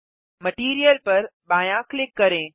material पर बायाँ click करें